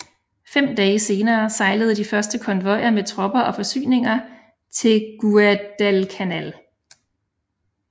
Fem dage senere sejlede de første konvojer med tropper og forsyninger til Guadalcanal